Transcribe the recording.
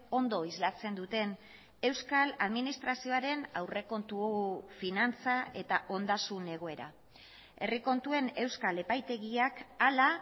ondo islatzen duten euskal administrazioaren aurrekontu finantza eta ondasun egoera herri kontuen euskal epaitegiak hala